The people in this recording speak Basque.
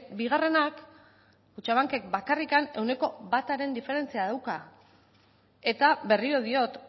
bigarrenak kutxabankek bakarrik ehuneko bataren diferentzia dauka eta berriro diot